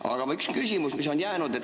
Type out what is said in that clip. Aga üks küsimus, mis on jäänud.